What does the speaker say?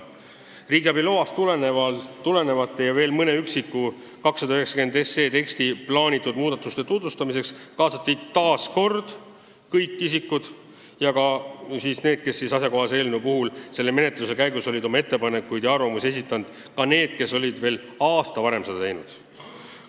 Riigiabi loast tulenevate ja veel mõnede eelnõu 290 teksti plaanitud muudatuste tutvustamiseks kaasati jälle kõik asjaomased isikud, sh ka need, kes menetluse käigus olid oma ettepanekuid ja arvamusi esitanud, isegi kui nad olid seda aasta varem teinud.